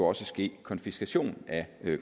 også ske konfiskation af